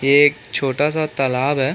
एक छोटा सा तालाब है।